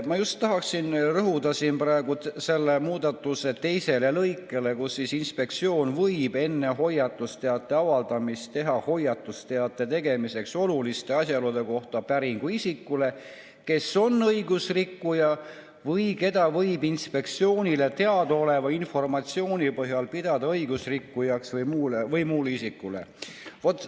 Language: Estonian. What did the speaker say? Ma tahaksin rõhuda just selle teisele lõikele, mille kohaselt võib inspektsioon "enne hoiatusteate avaldamist teha hoiatusteate tegemiseks oluliste asjaolude kohta päringu isikule, kes on õigusrikkuja või keda võib Inspektsioonile teadaoleva informatsiooni põhjal pidada õigusrikkujaks, või muule isikule".